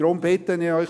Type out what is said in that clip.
Ich bitte Sie: